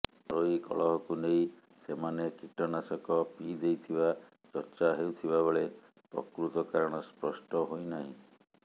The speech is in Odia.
ଘରୋଇ କଳହକୁ ନେଇ ସେମାନେ କୀଟନାଶକ ପିଇ ଦେଇଥିବା ଚର୍ଚ୍ଚା ହେଉଥିବାବେଳେ ପ୍ରକୃତ କାରଣ ସ୍ପଷ୍ଟ ହୋଇନାହିଁ